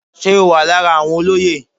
Ṣé o wà lára àwọn olóyè.